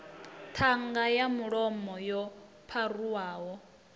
ṱhanga ya mulomo yo pharuwaho